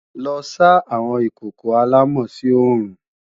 Lọ sá àwọn ìkòkò àlámọ̀ sí oòrùn!